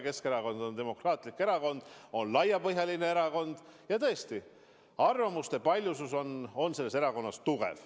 Keskerakond on demokraatlik erakond, on laiapõhjaline erakond ja tõesti, arvamuste paljusus on selles erakonnas suur.